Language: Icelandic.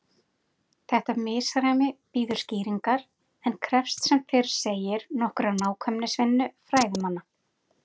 Þetta misræmi bíður skýringar en krefst sem fyrr segir nokkurrar nákvæmnisvinnu fræðimanna.